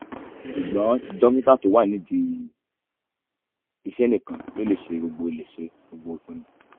ṣùgbọ́n dókítà tó wà nídìí iṣẹ́ nìkan ló lè ṣe gbogbo lè ṣe gbogbo ìpinnu